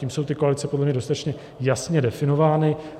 Tím jsou ty koalice podle mě dostatečně jasně definovány.